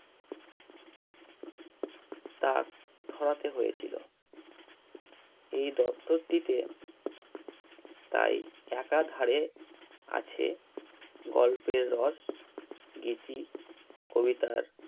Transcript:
তা ধরাতে হয়েছিল এই দপ্তরটিতে তাই আছে গল্পের রস গীতি কবিতার